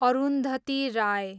Arundhati Rai